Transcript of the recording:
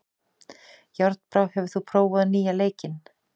Járnbrá, hefur þú prófað nýja leikinn?